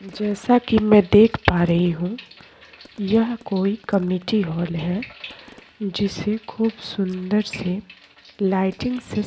जैसा की मैं देख पा रही हूँ यह कोई कमिटी हॉल है जिसे खूब सुंदर से लाइटिंग से --